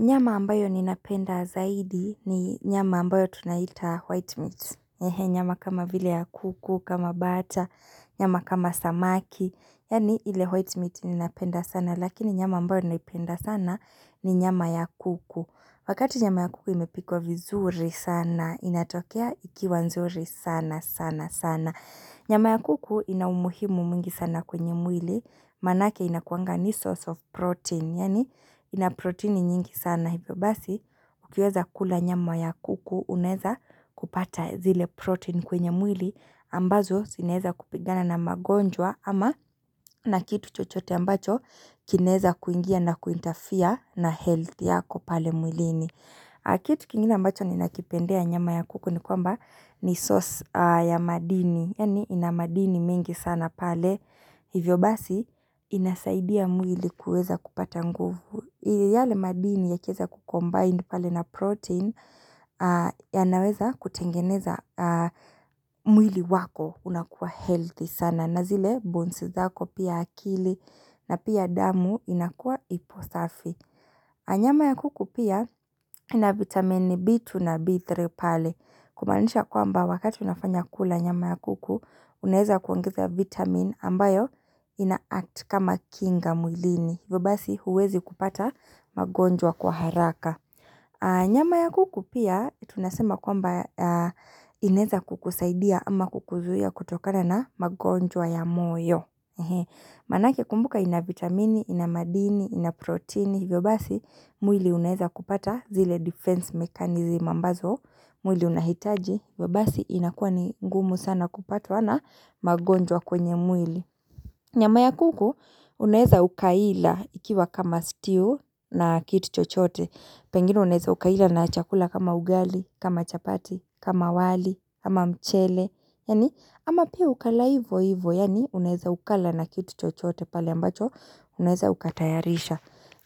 Nyama ambayo ninapenda zaidi ni nyama ambayo tunaita white meat. Nyama kama vile ya kuku, kama bata, nyama kama samaki, yani ile white meat ninapenda sana lakini nyama ambayo ninapenda sana ni nyama ya kuku. Wakati nyama ya kuku imepikwa vizuri sana, inatokea ikiwa nzuri sana sana sana Nyama ya kuku ina umuhimu mingi sana kwenye mwili Manake inakuanga ni source of protein, yani ina protein nyingi sana hivyo basi Ukiweza kula nyama ya kuku unaeza kupata zile protein kwenye mwili ambazo zi naeza kupigana na magonjwa ama na kitu chochote ambacho kinaeza kuingia na kuintafia na health yako pale mwilini Kitu kingine ambacho ni nakipendea nyama ya kuku ni kwamba ni source ya madini Yani ina madini mengi sana pale Hivyo basi inasaidia mwili kueza kupata nguvu yale madini ya kieza ku-combine pale na protein yanaweza kutengeneza mwili wako unakuwa healthy sana na zile bons zako pia akili na pia damu inakuwa iposafi. Na nyama ya kuku pia ina vitamini B 2 na B3 pale. Kumaanisha kwamba wakati unafanya kula nyama ya kuku unaeza kuangezea vitamin ambayo ina act kama kinga mwilini. Hivobasi huwezi kupata magonjwa kwa haraka. Nyama ya kuku pia tunasema kwamba inaeza kukusaidia ama kukuzuhia kutokana na magonjwa ya moyo. Manake kumbuka ina vitamini, ina madini, ina proteini. Hivyobasi mwili unaeza kupata zile defense mekanizim ambazo. Mwili unahitaji. Vyo basi inakuwa ni gumu sana kupatwana magonjwa kwenye mwili. Nyama ya kuku unaeza ukaila ikiwa kama stew na kitu chochote. Pengine unaeza ukaila na chakula kama ugali, kama chapati, kama wali, kama mchele. Yani ama pia ukala ivo ivo yani unaeza ukala na kitu chochote pale ambacho unaeza ukatayarisha.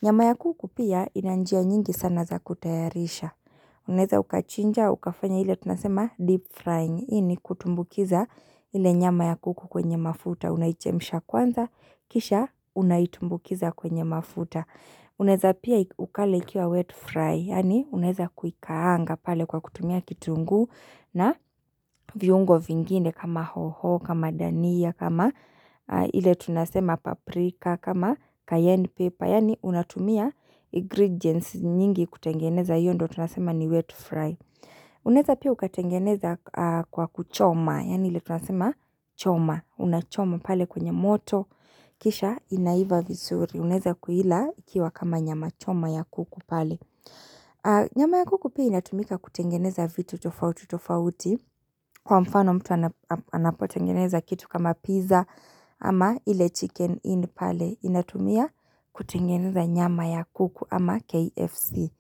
Nyama ya kuku pia ina njia nyingi sana za kutayarisha. Unaeza ukachinja, ukafanya ile tunasema deep frying hii ni kutumbukiza hile nyama ya kuku kwenye mafuta unaichemsha kwanza, kisha unaitumbukiza kwenye mafuta unaeza pia ukale ikiwa wet fry yani unaeza kuikaanga pale kwa kutumia kitunguu na viungo vingine kama hoho, kama dania kama ile tunasema paprika, kama cayenne pepper yani unatumia ingredients nyingi kutengeneza hiyo ndo tunasema ni wet fry. Unaeza pia ukatengeneza kwa kuchoma. Yani ile tunasema choma. Unachoma pale kwenye moto. Kisha inaiva visuri. Unaeza kuila ikiwa kama nyama choma ya kuku pale. Nyama ya kuku pia inatumika kutengeneza vitu tofauti tofauti. Kwa mfano mtu anapotengeneza kitu kama pizza ama ile chicken inn pale. Inatumia kutengeneza nyama ya kuku ama KFC.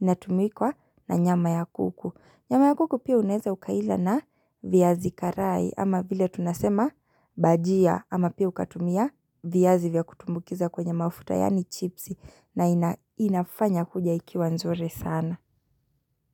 Inatumikwa na nyama ya kuku Nyama ya kuku pia unaeza ukaila na viyazi karai ama vile tunasema bajia ama pia ukatumia viyazi vya kutumbukiza kwenye mafuta yani chips na inafanya kuja ikiwa nzuri sana.